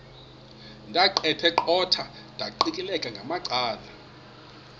ndaqetheqotha ndiqikaqikeka ngamacala